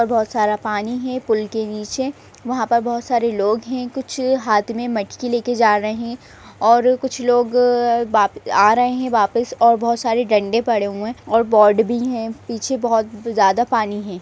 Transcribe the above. और बहोत सारा पानी है पुल के नीचे वहाँ बहोत सारे लोग है कुछ हाथ में मटकी लेके जा रहे है और कुछ लोग वाप आ रहे है वापस और बहोत सारे डंडे पड़े है और बोर्ड भी है पीछे बहोत ज्यादा पानी है।